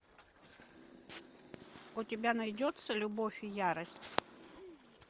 у тебя найдется любовь и ярость